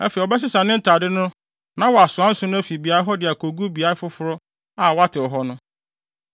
Afei, ɔbɛsesa ne ntade no na wasoa nsõ no afi beae hɔ de akogu beae foforo a wɔatew hɔ no.